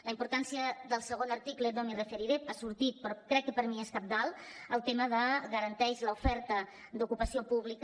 la importància del segon article no m’hi referiré ha sortit però crec que per mi és cabdal el tema de garantir l’oferta d’ocupació pública